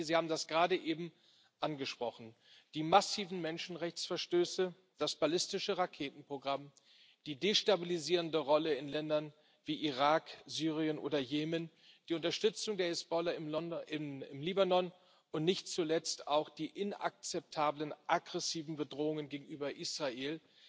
Frau Mogherini, Sie haben das gerade eben angesprochen Die massiven Menschenrechtsverstöße, das ballistische Raketenprogramm, die destabilisierende Rolle in Ländern wie Irak, Syrien oder Jemen, die Unterstützung der Hisbollah im Libanon und nicht zuletzt auch die aggressiven Bedrohungen gegenüber Israel